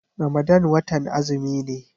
Ramadan watan azumi ne.